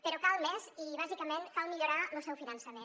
però cal més i bàsicament cal millorar lo seu finançament